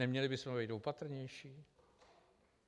Neměli bychom být opatrnější?